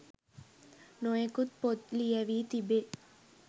නොයෙකුත් පොත් ලියැවී තිබේ.